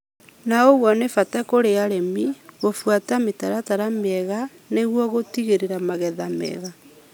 na ũguo nĩ bata kũrĩ arĩmi gũbuata mĩtaratara mĩega nĩguo gũtigĩrĩra magetha mega.